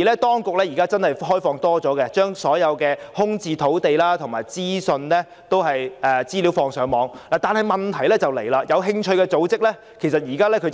當局現在無疑已開放較多資訊，例如把所有空置土地及資料放上網，但問題是，有興趣的組織現在